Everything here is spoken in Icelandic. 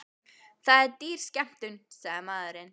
Það er dýr skemmtun, sagði maðurinn.